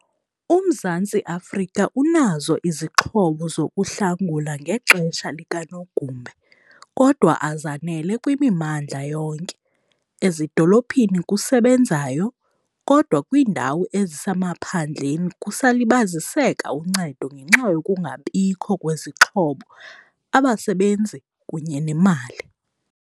UMzantsi Afrika unazo izixhobo zokuhlangula ngexesha likanogumbe kodwa azanele kwimimandla yonke, ezidolophini kusebenzayo kodwa kwiindawo ezisemaphandleni kusalibaziseka uncedo ngenxa yokungabikho kwezixhobo, abasebenzi kunye nemali.